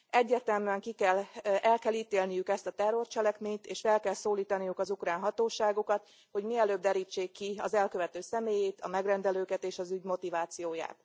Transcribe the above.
Egyértelműen el kell ítélniük ezt a terrorcselekményt, és fel kell szólítanuk az ukrán hatóságokat, hogy mielőbb derítsék ki az elkövető személyét, a megrendelőket és az ügy motivációját.